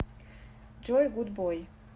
джой гуд бой